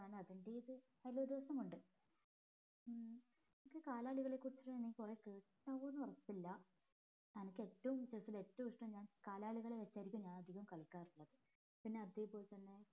അതിന്റേത് അത് ഒരു രസമുണ്ട് ഉം നിനക്ക് കാലാളുകളെ കുറിച്ച് നീ കൊറേ കേട്ടിട്ടുണ്ടാവോ ഉറപ്പില്ല അനക്ക് ഏറ്റവും chess ൽ ഏറ്റവും ഇഷ്ട്ടം കാലാളുകളെ വെച്ചായിരിക്കും ഞാൻ അധികം കളിക്കാറുള്ളത് പിന്നെ അതേപോലെ തന്നെ